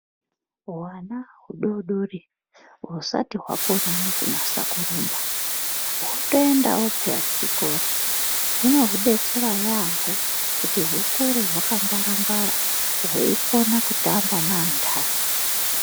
Hwana hudoodori husati hwakona nekunasa kurumba hwotoendawo peya kuchikora zvinohudetsera yaamho kuti hukure hwakangwara ngwara hweikona kutamba neanhani